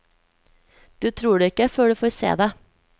Du tror det ikke før du får se det.